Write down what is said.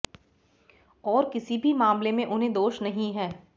और किसी भी मामले में उन्हें दोष नहीं है